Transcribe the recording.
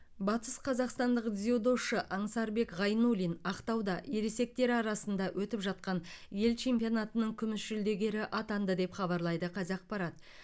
батысқазақстандық дзюдошы аңсарбек ғайнуллин ақтауда ересектер арасында өтіп жатқан ел чемпионатының күміс жүлдегері атанды деп хабарлайды қазақпарат